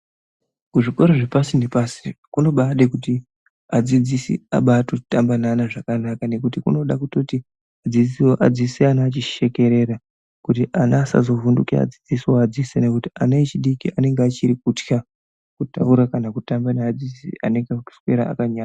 Kuzvikoro zvepasi nepasi kunobaade kuti adzidzisi abaatotamba veana zvakanaka nekuti kunoda kutoti mudzidzisiwo adzidzise ana achishekerera kuti ana asazovhunduke adzidzisi oadzidzisa nekuti ana echidiki anenge achiri kutya kutaura kana kutamba neadzidzisi anekakuswera akanya...